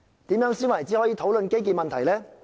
怎樣才算是討論基建問題呢？